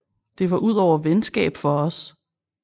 Det var udover venskab for os